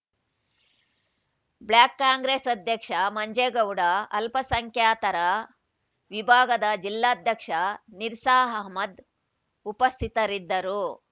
block Congress ಅಧ್ಯಕ್ಷ ಮಂಜೇಗೌಡ ಅಲ್ಪಸಂಖ್ಯಾತರ ವಿಭಾಗದ ಜಿಲ್ಲಾಧ್ಯಕ್ಷ ನಿರ್ಸ ಅಹಮದ್‌ ಉಪಸ್ಥಿತರಿದ್ದರು